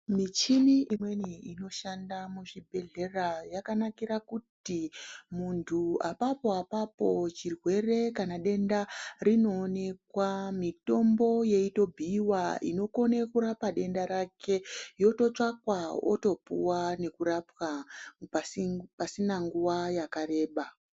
Michini imweni inoshanda muzvibhedhlera yakanakira kuti, muntu apapo-apapo chirwere kana denda rinoonekwa, mitombo yeitobhuiwa inokone kurapa denda rake, yototsvakwa, otopuwa nekurapwa, pasi pasina nguwa yakareba.